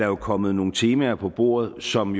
er kommet nogle temaer på bordet som